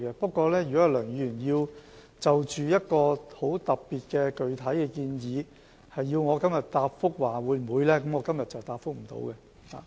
不過，如果梁議員要就一個很特別的具體建議，要求我答覆會否考慮實施，今天我是回答不了的。